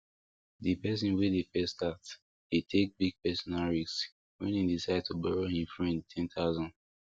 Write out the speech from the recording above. d person wey de first start de take big personal risk when e decide to borrow him friend ten thousand